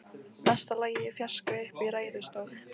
Mesta lagi í fjarska uppi í ræðustól.